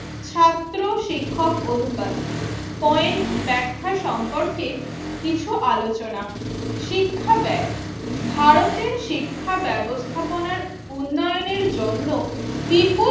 ছাত্র শিক্ষক অনুপাত পয়েন্ট ব্যাখ্যা সম্পর্কে কিছু আলোচনা। শিক্ষা ব্যায় ভারতের শিক্ষা ব্যবস্থাপনার উন্নয়নের জন্য বিপুল